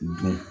Don